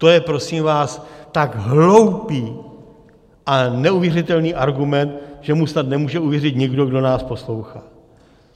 To je prosím vás tak hloupý a neuvěřitelný argument, že mu snad nemůže uvěřit nikdo, kdo nás poslouchá.